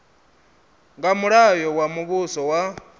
nga mulayo wa muvhuso wa